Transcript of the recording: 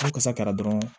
N'a kasa taara dɔrɔn